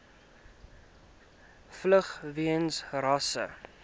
vlug weens rasse